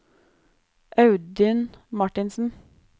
Audun Martinsen